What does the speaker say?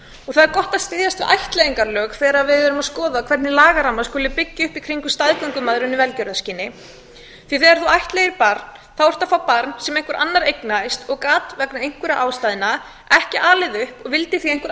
og það er gott að styðjast við ættleiðingarlög þegar við erum að skoða hvernig lagaramma skuli byggja upp í kringum staðgöngumæðrun í velgjörðarskyni því þegar þú ættleiðir barn þá ertu að fá barn sem einhver annar eignaðist og gat vegna einhverra ástæðna ekki alið það upp og vildi því að einhver